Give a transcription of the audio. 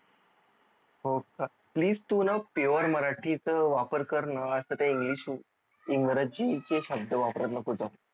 हो का please तू न pure मराठी च वापर कर न आस ते english इंग्रजी चे शब्द वापरत नको जाऊ